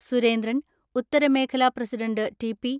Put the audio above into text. സുരേന്ദ്രൻ, ഉത്തരമേഖല president TP.